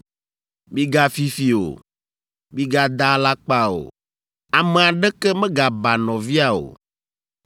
“ ‘Migafi fi o. “ ‘Migada alakpa o. “ ‘Ame aɖeke megaba nɔvia o.